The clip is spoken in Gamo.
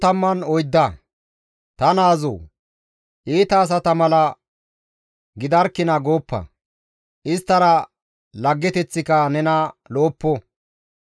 Ta naazoo! Iita asata mala gidarkina gooppa; Isttara laggeteththika nena lo7oppo.